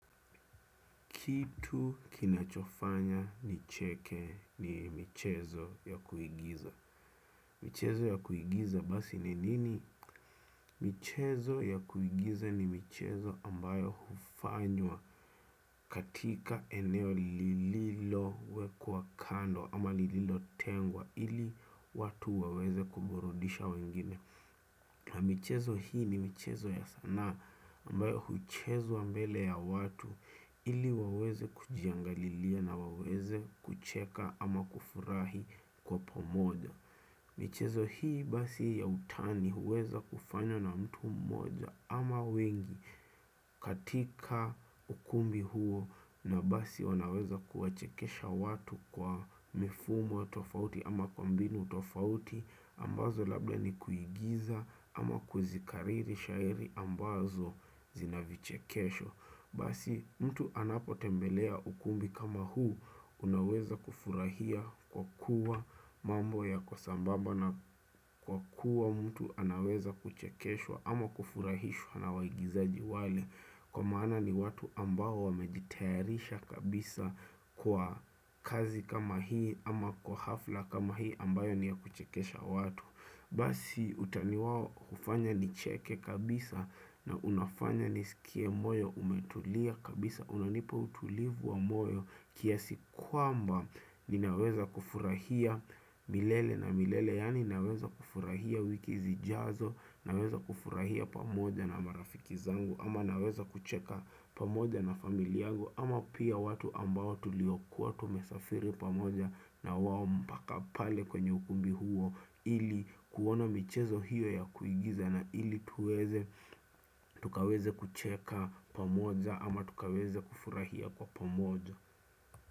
Kitu kinachofanya nicheke ni michezo ya kuigiza. Michezo ya kuigiza basi ni nini? Michezo ya kuigiza ni michezo ambayo hufanywa katika eneo lililowekwa kando ama lililotengwa ili watu waweze kuburudisha wengine. Michezo hii ni michezo ya sanaa ambayo huchezwa mbele ya watu ili waweze kujiangalilia na waweze kucheka ama kufurahi kwa pomoja. Michezo hii basi ya utani huweza kufanywa na mtu mmoja ama wengi katika ukumbi huo na basi wanaweza kuwachekesha watu kwa mifumo tofauti ama kwa mbinu tofauti. Ambazo labda ni kuigiza ama kuzikariri shairi ambazo zina vichekesho. Basi mtu anapotembelea ukumbi kama huu unaweza kufurahia kwa kuwa mambo yako sambaba. Naam kwa kuwa mtu anaweza kuchekeshwa ama kufurahishwa na waigizaji wale. Kwa maana ni watu ambao wamejitayarisha kabisa kwa kazi kama hii. Ama kwa hafla kama hii ambayo ni ya kuchekesha watu. Basi utani wao ufanya nicheke kabisa na unafanya nisikie moyo umetulia kabisa. Unanipa utulivu wa moyo kiasi kwamba ninaweza kufurahia milele na milele. Yani naweza kufurahia wiki zijazo naweza kufurahia pamoja na marafiki zangu. Ama naweza kucheka pamoja na familia angu. Ama pia watu ambao tuliokuwa tumesafiri pamoja na wao mpaka pale kwenye ukumbi huo ili kuona michezo hiyo ya kuigiza na ili tukaweze kucheka pamoja ama tukaweze kufurahia kwa pamoja.